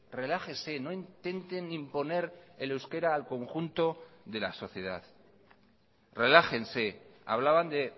relájese no intenten imponer el euskera al conjunto de la sociedad relájense hablaban de